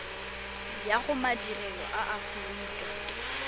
ya go madirelo a aforika